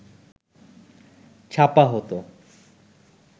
ছাপা হতো